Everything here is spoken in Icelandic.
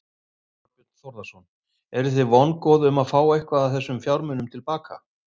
Þorbjörn Þórðarson: Eru þið vongóð um að fá eitthvað af þessum fjármunum til baka?